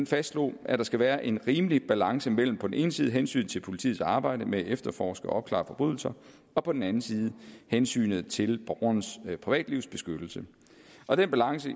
fastslog at der skal være en rimelig balance mellem på den ene side hensynet til politiets arbejde med at efterforske og opklare forbrydelser og på den anden side hensynet til borgernes privatlivs beskyttelse og den balance